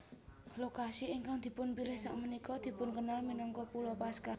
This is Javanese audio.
Lokasi ingkang dipunpilih sakmenika dipunkenal minangka Pulo Paskah